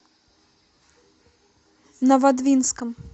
новодвинском